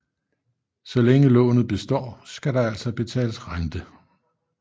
Så længe lånet består skal der altså betales rente